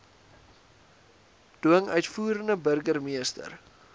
dwing uitvoerende burgermeester